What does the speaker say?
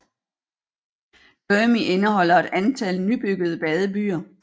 Dhermi indeholder et antal nybyggede badebyer